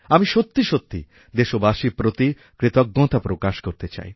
আমি সত্যি সত্যি দেশবাসীরপ্রতি কৃতজ্ঞতা প্রকাশ করতে চাই